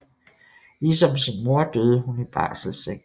Ligesom sin mor døde hun i barselseng